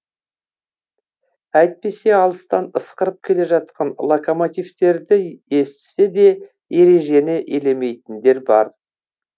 әйтпесе алыстан ысқырып келе жатқан локомотивтерді естісе де ережені елемейтіндер бар